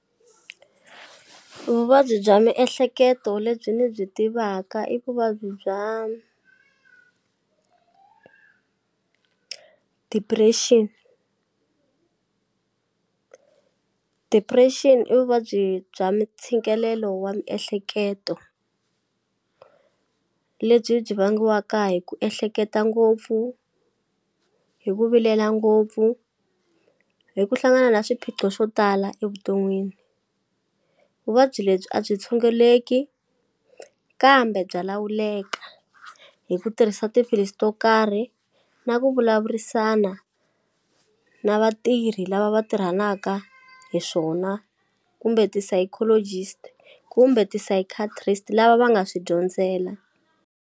Vuvabyi bya miehleketo lebyi ni byi tivaka i vuvabyi bya depression, depression i vuvabyi bya mintshikelelo wa miehleketo lebyi byi vangiwaka hi ku ehleketa ngopfu hi ku vilela ngopfu hi ku hlangana na swiphiqo swo tala evuton'wini vuvabyi lebyi a byi tshunguleki kambe bya lawuleka hi ku tirhisa tiphilisi to karhi na ku vulavurisana na vatirhi lava va tirhanaka hi swona kumbe ti-psychologist kumbe ti-psychiatrist lava va nga swi dyondzela.